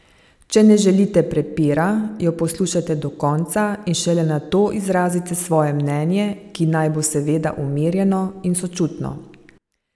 Če ne želite prepira, jo poslušajte do konca in šele nato izrazite svoje mnenje, ki naj bo seveda umirjeno in sočutno.